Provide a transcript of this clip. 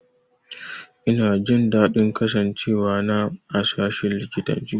Ina jin daɗin kasancewa na a sashin likitanci.